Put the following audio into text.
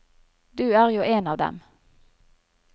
Du er jo en av dem.